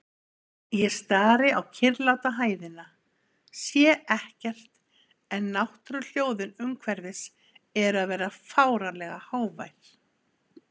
Ég stari á kyrrláta hæðina, sé ekkert en náttúruhljóðin umhverfis eru að verða fáránlega hávær.